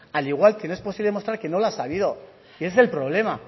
al igual que no es posible demostrar que no las ha habido y ese es el problema